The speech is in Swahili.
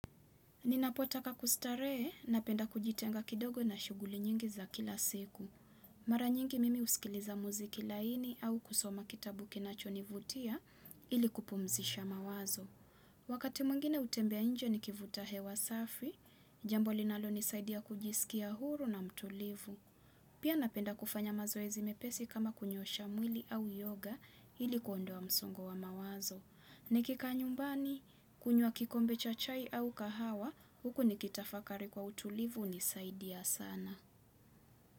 Ninapotaka kustarehe napenda kujitenga kidogo na shughuli nyingi za kila siku. Mara nyingi mimi husikiliza muziki laini au kusoma kitabu kinachonivutia ili kupumzisha mawazo. Wakati mwingine hutembea nje nikivuta hewa safi, jambo linalonisaidia kujisikia huru na mtulivu. Pia napenda kufanya mazoezi mepesi kama kunyosha mwili au yoga ili kuondoa msongo wa mawazo. Nikikaa nyumbani, kunywa kikombe cha chai au kahawa, huko nikitafakari kwa utulivu hunisaidia sana.